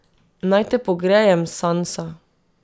Naj te pogrejem, Sansa.